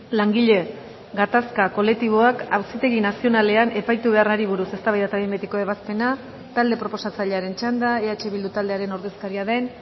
langile gatazka kolektiboak auzitegi nazionalean epaitu beharrari buruz eztabaida eta behin betiko ebazpena talde proposatzailearen txanda eh bildu taldearen ordezkaria den